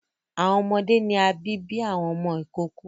Awọn ọmọde ni a bi bi awọn ọmọ ikoko